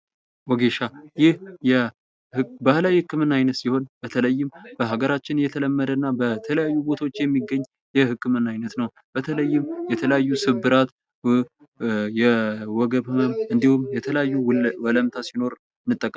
ወጌሻ ይህ የ ባህላዊ ህክምና አይነት ሲሆን ፤ በተለይም በአገራችን የተለመደና በተለያዩ ቦታዎች የሚገኝ የሕክምና ዓይነት ነው። በተለይም የተለያዩ ስብራት፣ የወገብ ህመም ፣እንዲሁም የተለያዩ ወለምታ ሲኖር እንጠቀመዋለን።